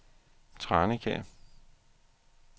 Tranekær